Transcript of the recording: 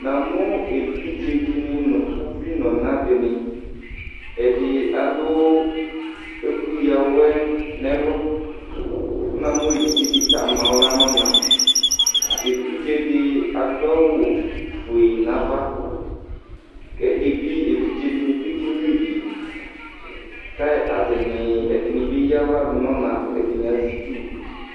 Namu evidzeɖìŋí ŋu uví ŋu ɔna ɖìŋí Ɛdí alu ɛku ɣawɛ ŋu ɛlu Kʋ namu evidzeɖìta amaɣla ŋu ɔna Evidze ɖi aɖʋ awu fʋe ŋu ava Evidzeɖìŋí bi kɛnyʋívì Kʋ ataŋi, Ɛɖìní bi eyaɣla ɖʋ ŋu ɔna kʋ ɛɖìní azɛ itsu